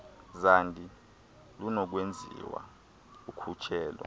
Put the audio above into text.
zandi lunokwenziwa ukhutshelo